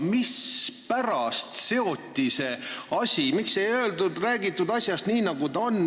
Aga miks ei räägitud asjast nii, nagu ta on?